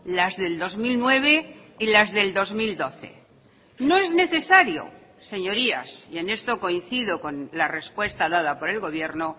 las del dos mil nueve y las del dos mil doce no es necesario señorías y en esto coincido con la respuesta dada por el gobierno